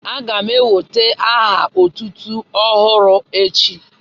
A ga m enwèta aha otútú ọhụrụ echi